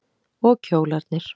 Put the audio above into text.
Og kjólarnir.